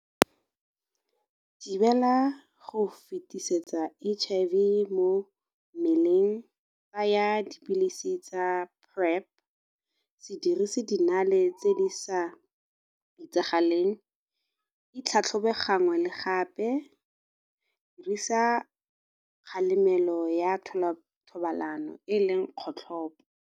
Go thibela go fetisetsa H_I_V mo mmeleng tsaya dipilisi tsa Prep, se dirise dinale tse di sa itsagaleng, itlhatlhobe gangwe le gape, dirisa kgalemelo ya thobalano e e leng kgotlhopo.